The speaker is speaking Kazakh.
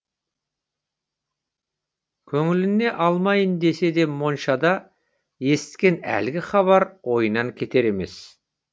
көңіліне алмайын десе де моншада есіткен әлгі хабар ойынан кетер емес